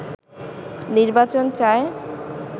নির্বাচন চায়